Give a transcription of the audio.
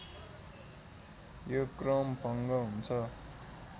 यो क्रम भङ्ग हुन्छ